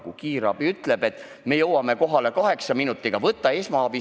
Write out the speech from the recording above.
Näiteks siis, kui kiirabi ütleb, et me jõuame kohale kaheksa minutiga, seni anna esmaabi.